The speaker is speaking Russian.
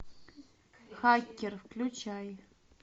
хакер включай